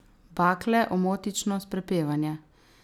Bakle, omotičnost, prepevanje.